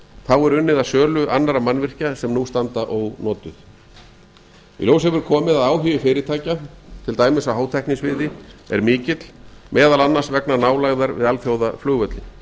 þá er unnið að sölu annarra mannvirkja sem árs anda ónotuð í ljós hefur komið að áhugi fyrirtækja til dæmis á hátæknisviði er mikill meðal annars vegna nalgæðar við alþjóðaflugvöllinn